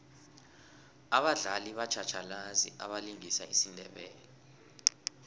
abadlali batjhatjhalazi abalingisa isindebele